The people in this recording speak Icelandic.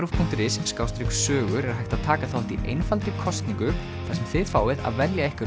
punktur is sogur er hægt að taka þátt í einfaldri kosningu þar sem þið fáið að velja ykkar